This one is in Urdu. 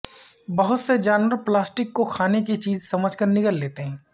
بہت سے جانور پلاسٹک کو کھانے کی چیز سمجھ کر نگل لیتے ہیں